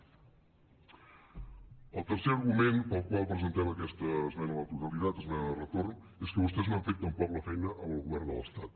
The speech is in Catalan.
el tercer argument pel qual presentem aquesta esmena a la totalitat esmena de retorn és que vostès no han fet tampoc la feina amb el govern de l’estat